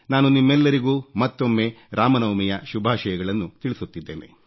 ನಾನು ನಿಮ್ಮೆಲ್ಲರಿಗೂ ಮತ್ತೊಮ್ಮೆ ರಾಮನವಮಿಯ ಶುಭಾಷಯಗಳನ್ನು ತಿಳಿಸುತ್ತಿದ್ದೇನೆ